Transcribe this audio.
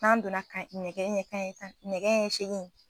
N'an donna kan nɛgɛ ɲɛ kanɲɛ tan nɛgɛ ɲɛ segin